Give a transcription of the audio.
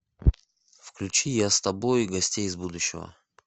включи я с тобой гостей из будущего